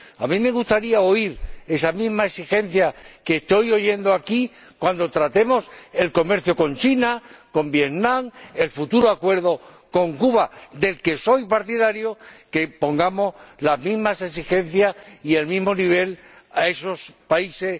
A mí me gustaría oír esa misma exigencia que estoy oyendo aquí cuando tratemos el comercio con China, con Vietnam, o el futuro acuerdo con Cuba —del que soy partidario—, que pongamos las mismas exigencias y el mismo nivel a esos países.